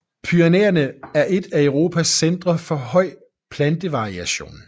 Pyrenæerne er et af Europas centre for høj plantevariation